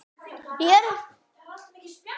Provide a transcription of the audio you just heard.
Margir bankar voru látnir rúlla.